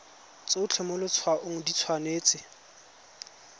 tsotlhe mo letshwaong di tshwanetse